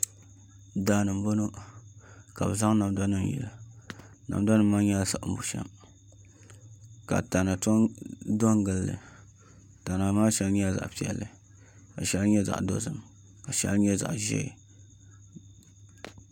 Daani n bɔŋɔ ka bi zaŋ namda nim yili namda nim maa nyɛla siɣim bushɛm ka tana tom do n gilli tana maa shɛli nyɛla zaɣ piɛlli ka shɛli nyɛ zaɣ dozim ka shɛli nyɛ zaɣ ʒiɛ